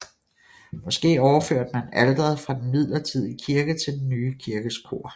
Måske overførte man alteret fra den midlertidige kirke til den nye kirkes kor